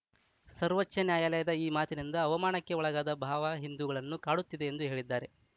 ಸರ್ವೋಚ್ಚ ನ್ಯಾಯಾಲಯದ ಈ ಮಾತಿನಿಂದ ಅವಮಾನಕ್ಕೆ ಒಳಗಾದ ಭಾವ ಹಿಂದುಗಳನ್ನು ಕಾಡುತ್ತಿದೆ ಎಂದು ಹೇಳಿದ್ದಾರೆ